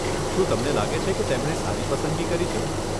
શું તમને લાગે છે કે તેમણે સારી પસંદગી કરી છે?